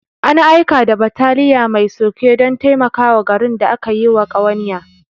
An aika da bataliya mai sulke don taimakawa garin da aka yiwa ƙawanya.